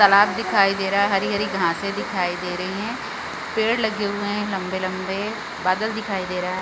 तालाब दिखाई दे रहा है हरी-हरी घाँस दिखाई दे रही है पेड़ लगे हुए हैं लंबे-लंबे बादल दिखाई दे रहा हैं।